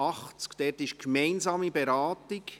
Zu diesen erfolgt eine gemeinsame Beratung.